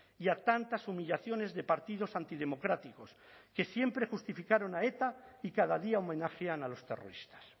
y a tantas humillaciones de partidos antidemocráticos que siempre justificaron a eta y cada día homenajean a los terroristas